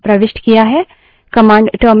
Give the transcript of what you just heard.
command terminal पर एक output देगी